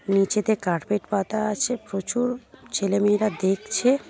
নিচেতে কার্পেট পাতা আছে প্রচুর ছেলেমেয়েরা দেখছে।